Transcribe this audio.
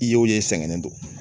I yew ye sɛgɛn don